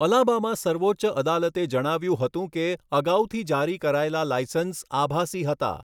Alabama સર્વોચ્ચ અદાલતે જણાવ્યું હતું કે અગાઉથી જારી કરાયેલા લાઇસન્સ 'આભાસી' હતા.